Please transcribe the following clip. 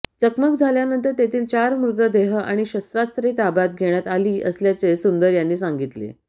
चकमक झाल्यानंतर तेथील चार मृतदेह आणि शस्त्रास्त्रे ताब्यात घेण्यात आली असल्याचे सुंदर यांनी सांगितले